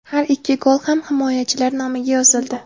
Har ikki gol ham himoyachilar nomiga yozildi.